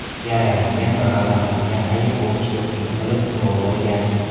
Yaralangan va g‘azablangan ayiq ovchiga hujum qilib, uni o‘ldirgan.